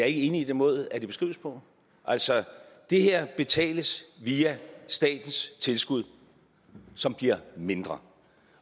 enig i den måde det beskrives på altså det her betales via statens tilskud som bliver mindre